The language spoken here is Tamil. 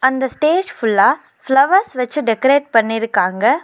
இந்த ஸ்டேஜ் ஃபுல்லா ஃப்ளவர்ஸ் வெச்சு டெக்கரேட் பண்ணிருக்காங்க.